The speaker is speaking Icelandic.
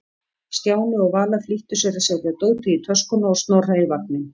Stjáni og Vala flýttu sér að setja dótið í töskuna og Snorra í vagninn.